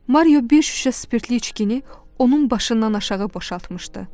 Mario bir şüşə spirtli içkini onun başından aşağı boşaltmışdı.